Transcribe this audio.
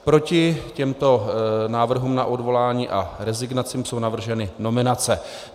Proti těmto návrhům na odvolání a rezignaci jsou navrženy nominace.